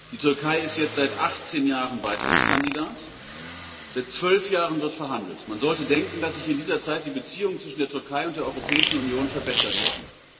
Die Türkei ist jetzt seit 18 Jahren Beitrittskandidat, seit zwölf Jahren wird verhandelt. Man sollte denken, dass sich in dieser Zeit die Beziehungen zwischen der Türkei und der Europäischen Union verbessert hätten.